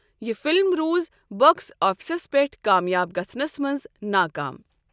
یہ فلم روٗز باکس آفسس پیٹھ کامیاب گژھنس منٛز ناکام۔